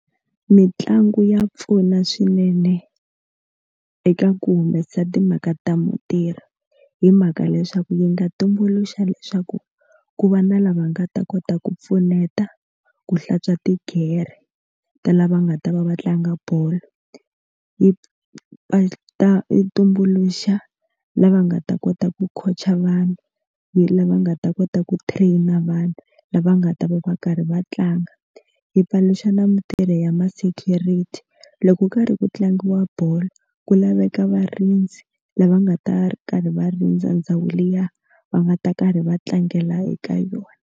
Mitlangu ya pfuna swinene eka ku humesa timhaka ta mintirho hi mhaka leswaku yi nga tumbuluxa leswaku ku va na lava nga ta kota ku pfuneta ku hlantswa tigere ta lava nga ta va va tlanga bolo yi nga ta tumbuluxa lava nga ta kota ku khotsa vanhu lava nga ta kota ku train na vanhu lava nga ta va va karhi va tlanga hi paluxa na mutirhi ya ma security loko karhi ku tlangiwa bolo ku laveka varindzi lava nga ta ri karhi va rindza ndhawu liya va nga ta karhi va tlangela eka yona.